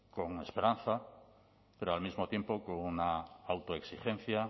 con esperanza pero al mismo tiempo con una autoexigencia